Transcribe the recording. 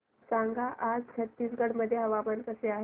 सांगा आज छत्तीसगड मध्ये हवामान कसे आहे